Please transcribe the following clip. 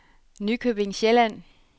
Nykøbing Sjælland